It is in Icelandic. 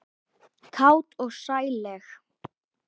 Kát og sælleg.